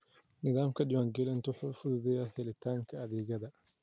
Nidaamka diiwaangelintu wuxuu fududeeyaa helitaanka adeegyada.